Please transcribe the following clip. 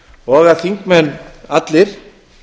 og að þingmenn allir